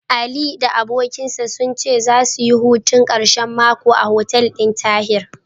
Ali da abokinsa sun ce zasu yi hutun ƙarshen mako a hotel ɗin Tahir.